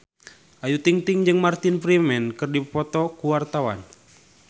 Ayu Ting-ting jeung Martin Freeman keur dipoto ku wartawan